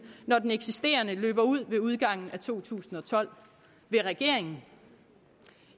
når den eksisterende løber ud med udgangen af to tusind og tolv vil regeringen